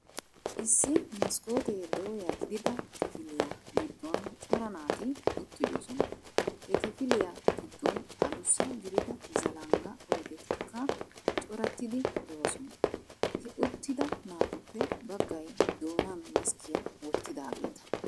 Issi maskkotee dooya gidida kifiliya giddon cora naati uttidoosona. He kifiliya giddon adussa gidida zalangga oydettikka corattidi de'oona. He uttida naatuppe baggay doonan maskkiya wottidaageeta.